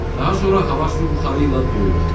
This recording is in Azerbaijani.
Daha sonra hava su buxarı ilə doyur.